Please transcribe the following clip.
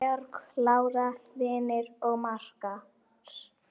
Georg, Lára, Vignir og makar.